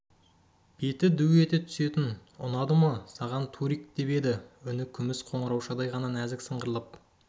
беті ду ете түсетін ұнады ма саған турик деп еді үні күміс қоңыраушадай ғана нәзік сыңғырлап